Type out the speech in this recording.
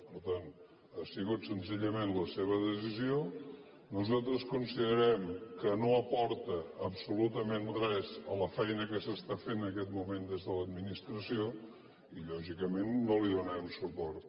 per tant ha sigut senzillament la seva decisió nosaltres considerem que no aporta absolutament res a la feina que s’està fent en aquest moment des de l’administració i lògicament no hi donarem suport